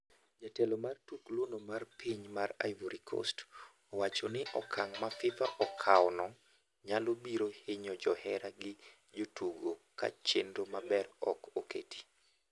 Jatugo mar tukluno mar piny mar Ivory Coast owachoni okang' ma FIFA okawno nyalo biro hinyo johera gi jotugo kachenro maber ok oketi.